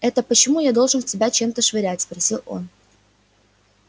это почему я должен в тебя чем-то швырять спросил он